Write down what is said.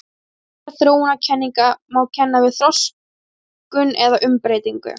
Fyrri gerð þróunarkenninga má kenna við þroskun eða umbreytingu.